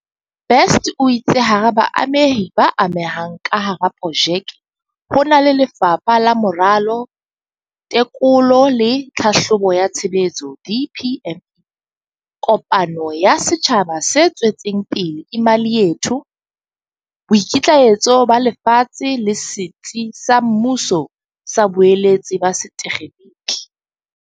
Best o itse hara baamehi ba amehang ka hara projeke ho na le Lefapha la Moralo, Teko lo le Tlhahlobo ya Tshebetso, DPME, kopano ya setjhaba se tswetseng pele Imali Yethu, Boikitlaetso ba Lefatshe le Setsi sa Mmuso sa Boeletsi ba Setekgeniki.